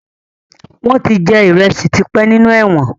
Wọn tí jẹ ìrẹsì tí pẹ́ nínú ẹ̀wọ̀n